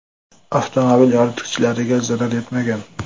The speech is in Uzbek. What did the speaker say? Avtomobil yoritgichlariga zarar yetmagan.